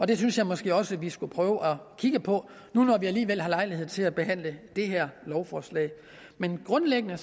det synes jeg måske også at vi skulle prøve at kigge på nu hvor vi alligevel har lejlighed til at behandle det her lovforslag men grundlæggende